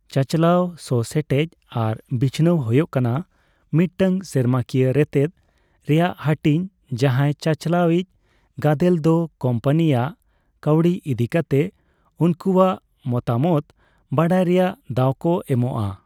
ᱪᱟᱪᱟᱞᱟᱣ ᱥᱚᱼᱥᱮᱴᱮᱡ ᱟᱨ ᱵᱤᱪᱷᱟᱹᱱᱟᱣ ᱦᱳᱭᱚᱜ ᱠᱟᱱᱟ ᱢᱤᱫᱴᱟᱝ ᱥᱮᱨᱢᱟᱠᱤᱭᱟᱹ ᱨᱮᱛᱮᱪ ᱨᱮᱭᱟᱜ ᱦᱟᱹᱴᱤᱧ ᱡᱟᱸᱦᱟᱭ ᱪᱟᱪᱟᱞᱟᱣ ᱤᱪ ᱜᱟᱫᱮᱞ ᱫᱚ ᱠᱳᱢᱯᱟᱱᱤ ᱟᱜ ᱠᱟᱹᱣᱰᱤ ᱤᱫᱤ ᱠᱟᱛᱮ ᱩᱱᱠᱩᱭᱟᱜ ᱢᱚᱛᱟᱢᱚᱛ ᱵᱟᱰᱟᱭ ᱨᱮᱭᱟᱜ ᱫᱟᱣ ᱠᱚ ᱮᱢᱚᱜᱼᱟ ᱾